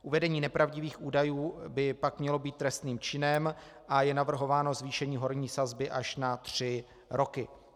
Uvedení nepravdivých údajů by pak mělo být trestným činem a je navrhováno zvýšení horní sazby až na tři roky.